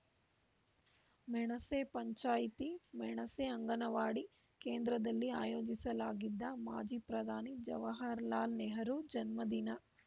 ಮೆಣಸೆ ಪಂಚಾಯಿತಿ ಮೆಣಸೆ ಅಂಗನವಾಡಿ ಕೇಂದ್ರದಲ್ಲಿ ಆಯೋಜಿಸಲಾಗಿದ್ದ ಮಾಜಿ ಪ್ರದಾನಿ ಜವಹರಲಾಲ್‌ ನೆಹರು ಜನ್ಮದಿನ